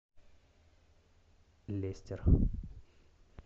лестер